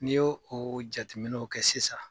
N'i y'o o jateminɛw kɛ sisan.